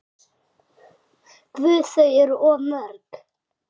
Guð, þau eru of mörg.